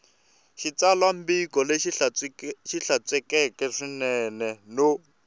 xitsalwambiko lexi hlantswekeke swinene no